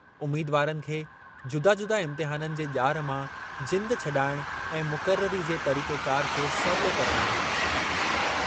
उमीदवारनि खे जुदा-जुदा इम्तिहाननि जे ॼार मां जिंदु छॾाइणु ऐं मुक़ररी जे तरीक़ेकार खे सवलो करणु आहे।